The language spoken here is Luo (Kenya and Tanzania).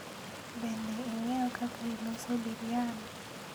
Bende ing'eyo kaka iloso biryan?